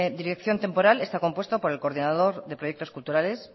dirección temporal está compuesto por el coordinador de proyectos culturales